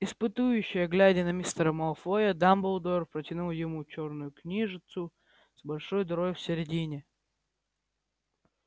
испытующе глядя на мистера малфоя дамблдор протянул ему чёрную книжицу с большой дырой в середине